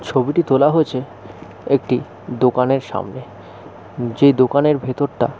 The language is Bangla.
ছবিটি তোলা হয়েছে একটি দোকান এর সামনে যেই দোকান এর ভিতরটা --